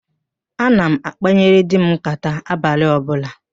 Ana m akpanyere di m nkàtá abalị ọbụla